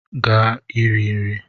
Gaa ka ị rie nri!